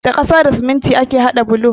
Da ƙasa da siminti ake hada bulo.